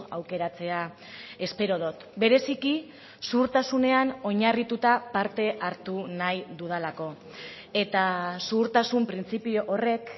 aukeratzea espero dut bereziki zuhurtasunean oinarrituta parte hartu nahi dudalako eta zuhurtasun printzipio horrek